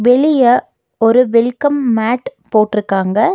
வெளிய ஒரு welcome mat போட்ருக்காங்க.